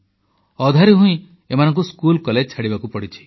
ଅଧାରୁ ହିଁ ଏମାନଙ୍କୁ ସ୍କୁଲକଲେଜ ଛାଡ଼ିବାକୁ ପଡ଼ିଛି